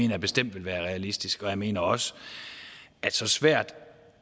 jeg bestemt vil være realistisk jeg mener også at så svært